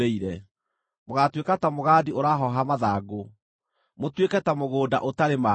Mũgaatuĩka ta mũgandi ũrahooha mathangũ, mũtuĩke ta mũgũnda ũtarĩ maaĩ.